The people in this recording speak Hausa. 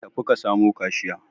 Tafi ka samu kashiya.